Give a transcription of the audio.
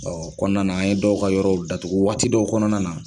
Ɔ kɔnɔna na an ye dɔw ka yɔrɔw datugu waati dɔw kɔnɔna na